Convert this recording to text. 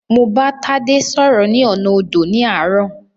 Mo bá Tádé sọ́rọ́ ní ọ̀nà odò ní àárọ̀.